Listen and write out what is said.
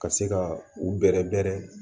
Ka se ka u bɛrɛbɛrɛ